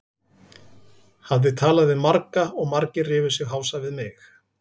Hafði talað við marga og margir rifu sig hása við mig.